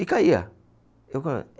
E caía.